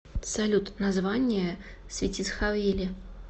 салют название светицховели